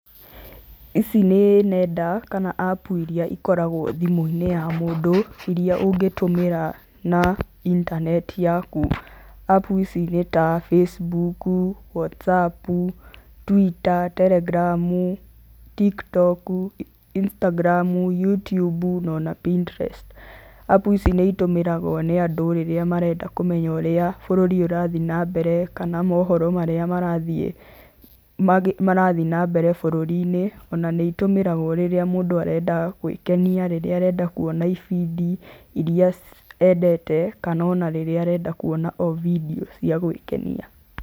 Ici nĩ nenda kana apps irĩa ikoragwo thimũ-inĩ ya mũndũ, iria ũngĩtũmĩra na intaneti yaku, apps ici nĩta, Facebook, whatsapp, twitter, telegram, Tiktok, Instagram, Youtube, na ona Pinterest. Apps ici nĩ itũmagĩrwo nĩ andũ rĩrĩa marenda kũmenya ũrĩa bũrũri ũrathiĩ na mbere kana mohoro marĩa marathiĩ na mbere bũrũri-inĩ, ona nĩ itũmagĩrwo rĩrĩa mũndũ arenda gwĩkenia na rĩrĩa arenda kwona indo iria endete kana o na rĩrĩa arenda kuona bindiũ cia gwĩkenia.